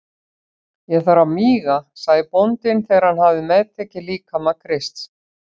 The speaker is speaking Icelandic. Ég þarf að míga, sagði bóndinn þegar hann hafði meðtekið líkama Krists.